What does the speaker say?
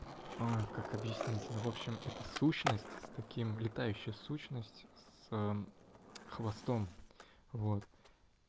а как объяснить ну в общем это сущность с таким летающая сущность с ээ хвостом вот